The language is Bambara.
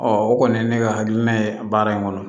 o kɔni ye ne ka hakilina ye baara in kɔnɔ